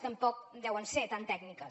tampoc deuen ser tan tècniques